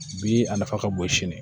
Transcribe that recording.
Bi a nafa ka bon sini